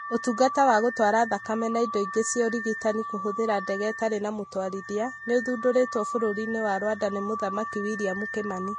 ũtungata wa gũtwara thakame na indo ingĩ cia ũrigitani kũhũthĩra ndege itarĩ na mũtwarithia , nĩũthundũrĩtwo bũrũri-inĩ wa Rwanda nĩ Mũthamaki William Kimani